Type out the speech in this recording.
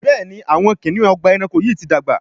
Béèni Awọn kiniun Ọgbà ẹranko yi ti dàgbà.